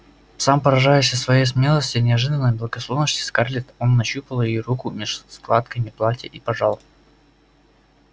сам поражаясь своей смелости и неожиданной благосклонности скарлетт он нащупал её руку меж складками платья и пожал